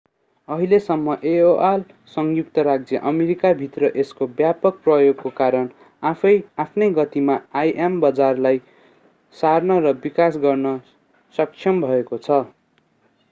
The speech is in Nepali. अहिलेसम्म aol संयुक्त राज्य अमेरिकाभित्र यसको व्यापक प्रयोगको कारण आफ्नै गतिमा im बजारलाई सार्न र विकास गर्न सक्षम भएको छ